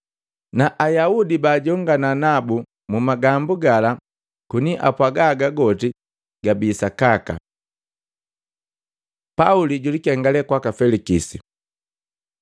Na Ayaudi bajongana nabu mumagambu gala koni apwaga haga goti gabi sakaka. Pauli julikengale kwaka Felikisi